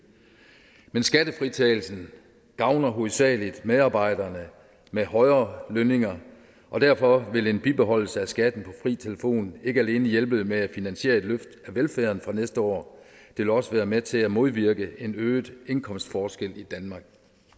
men skattefritagelsen gavner hovedsagelig medarbejdere med højere lønninger og derfor vil en bibeholdelse af skatten på fri telefon ikke alene hjælpe med at finansiere et løft af velfærden fra næste år det vil også være med til at modvirke en øget indkomstforskel i danmark